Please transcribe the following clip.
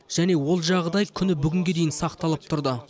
және ол жағдай күні бүгінге дейін сақталып тұрды